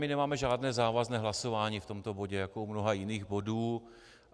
My nemáme žádné závazné hlasování v tomto bodě, jako u mnoha jiných bodů.